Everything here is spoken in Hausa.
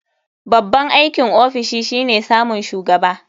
Babban aikin ofishi shine samun shugaba.